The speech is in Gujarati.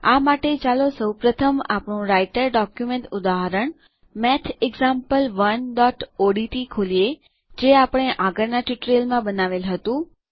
આ માટે ચાલો સૌ પ્રથમ આપણું રાઈટર ડોક્યુમેન્ટ ઉદાહરણ mathexample1ઓડીટી ખોલીએ જે આપણે આગળના ટ્યુટોરીયલમાં બનાવેલ હતું